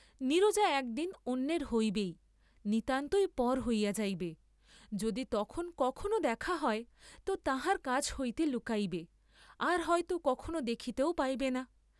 নীরজা এক দিন অন্যের হইবেই, নিতান্তই পর হইয়া যাইবে, যদি তখন কখনও দেখা হয় তো তাঁহার কাছ হইতে লুকাইবে, আর হয় তো কখনও দেখিতেও পাইবেন না।